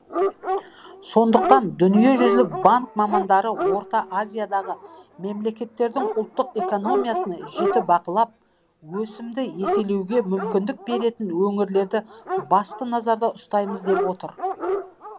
сондықтан дүниежүзілік банк мамандары орта азиядағы мемлекеттердің ұлттық экономикасын жіті бақылап өсімді еселеуге мүмкіндік беретін өңірлерді басты назарда ұстаймыз деп отыр